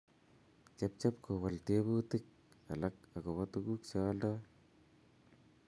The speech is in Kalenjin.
Chepchep kowol teebutikab olik agobo tguk che oldoi